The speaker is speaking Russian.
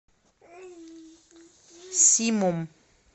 симом